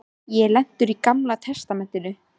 Ég er lentur í Gamla testamentinu.